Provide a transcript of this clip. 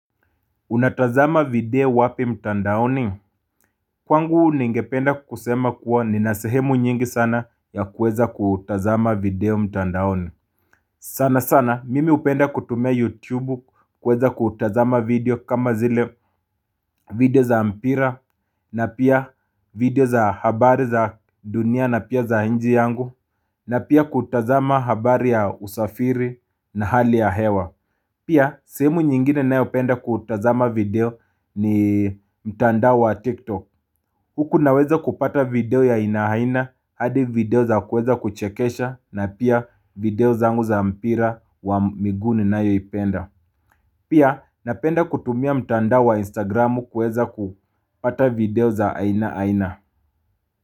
Unatazama video wapi mtandaoni? Kwangu ningependa kusema kuwa ninasehemu nyingi sana ya kweza kutazama video mtandaoni. Sana sana mimi upenda kutumia yutubu kweza kutazama video kama zile video za mpira na pia video za habari za dunia na pia za inji yangu na pia kutazama habari ya usafiri na hali ya hewa. Pia sehemu nyingine nayo penda kutazama video ni mtandao wa TikTok Huku naweza kupata video ya inahaina hadi video za kueza kuchekesha na pia video zangu za mpira wa miguu ninayo ipenda Pia napenda kutumia mtandao wa Instagramu kueza kupata video za ainaina.